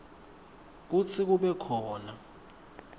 kutsi kube khona